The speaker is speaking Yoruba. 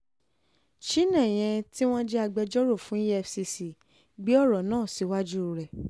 chinéyé tí wọ́n jẹ́ agbẹjọ́rò fún efcc gbé ọ̀rọ̀ náà síwájú rẹ̀